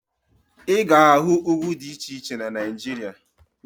Ị ga-ahụ ugwu dị iche iche na Naịjirịa